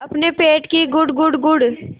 अपने पेट की गुड़गुड़ गुड़गुड़